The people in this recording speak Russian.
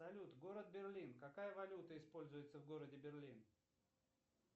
салют город берлин какая валюта используется в городе берлин